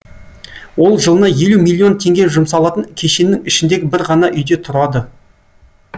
ол жылына елу миллион теңге жұмсалатын кешеннің ішіндегі бір ғана үйде тұрады